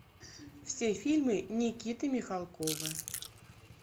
все фильмы никиты михалкова